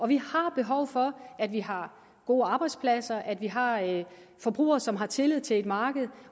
vi har behov for at vi har gode arbejdspladser og at vi har forbrugere som har tillid til et marked